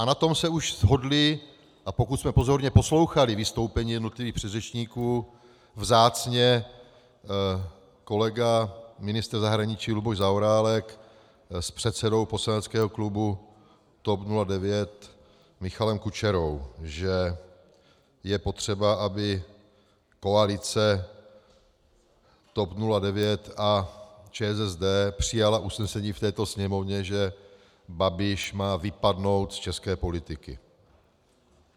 A na tom se už shodli, a pokud jsme pozorně poslouchali vystoupení jednotlivých předřečníků, vzácně kolega ministr zahraničí Luboš Zaorálek s předsedou poslaneckého klubu TOP 09 Michalem Kučerou, že je potřeba, aby koalice TOP 09 a ČSSD přijala usnesení v této Sněmovně, že Babiš má vypadnout z české politiky.